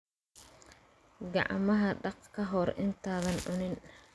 Gacmaha dhaq ka hor intaadan cunin.